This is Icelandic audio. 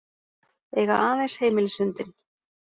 Eiga aðeins heimilishundinn